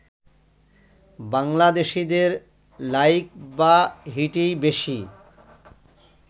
বাংলাদেশিদের লাইক বা হিটই বেশি